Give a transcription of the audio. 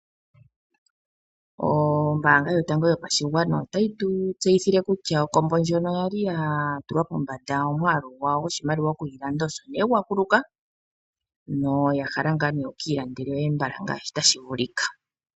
Ombaanga yotango yopashigwana otayi tu tseyithile kutya okombo ndjono ya li ya tulwa pombanda, omwaalu gwawo goshimaliwa osho nee gwa kuluka noya hala ngaa nee wuki ilandele yoye mbala ngaashi tashi vulika.